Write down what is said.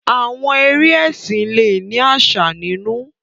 Àwọn eré ẹsìn le ni àsà nínú.